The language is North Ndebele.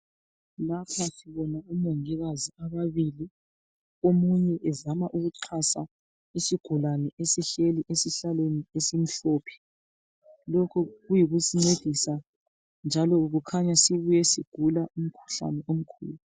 Lapha sibona omongikazi ababili. Omunye ezama ukuxhansa isigulane esihleli esihlalweni esimhlophe. Lokhu kuyikusincedisa, njalo kukhanya sibuye sigula umkhuhlane omkhulu.